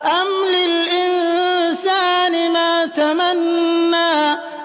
أَمْ لِلْإِنسَانِ مَا تَمَنَّىٰ